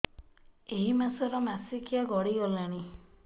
ଏଇ ମାସ ର ମାସିକିଆ ଗଡି ଗଲାଣି